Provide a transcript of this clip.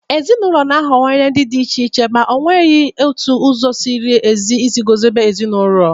Ezinụlọ na-aghọwanye ndị dị iche iche, ma ọ nweghịzi otu ụzọ “ziri ezi” isi guzobe ezinụlọ.